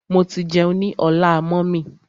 Mo ti jẹun ní ọlá mummy.